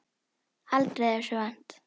Aldrei þessu vant.